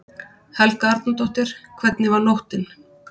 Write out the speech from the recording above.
Helga Arnardóttir: Hvernig var nóttin?